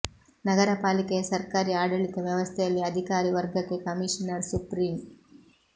ನಗರ ಪಾಲಿಕೆಯ ಸರ್ಕಾರಿ ಆಡಳಿತ ವ್ಯವಸ್ಥೆಯಲ್ಲಿ ಅಧಿಕಾರಿ ವರ್ಗಕ್ಕೆ ಕಮೀಷನರ್ ಸುಪ್ರೀಂ